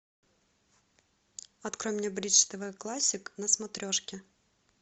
открой мне бридж тв классик на смотрешке